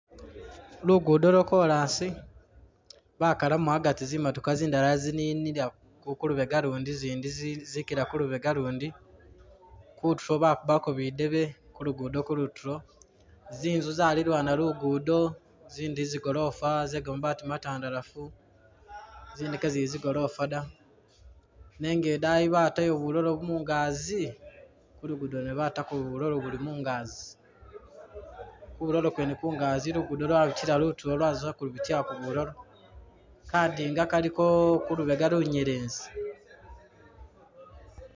Lugudo lwa kolas, bakalamu agati zimotoka zindala zininila ku ku lubega lundi zindi zikila ku lubega lundi. Kutulo bakubako bidebe ku lugudo kulutulo, zinzu zalilwana lugudo zindi zigolofa ze kamabaati matandalafu, zindi kezili zigolofa da. Nenga idayi batayo bulalo mungazi, ku lugudo lwene batako bulalo buli mungazi. Ku bulalo kwene kungazi lugudo lwabitila lutulo lwaza kubitilako bulalo. Kadinga kaliko ku lubega lunyelezi.